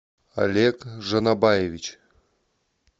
олег жинобаевич